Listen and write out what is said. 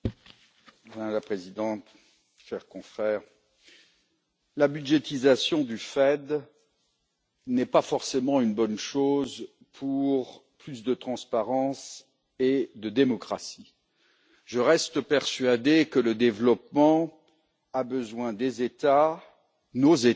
Madame la Présidente, chers confrères, la budgétisation du FED n'est pas forcément une bonne chose pour plus de transparence et de démocratie. Je reste persuadé que le développement a besoin des États, de nos États et